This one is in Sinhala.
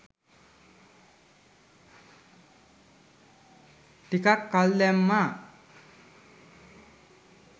ටිකක් කල් දැම්මා.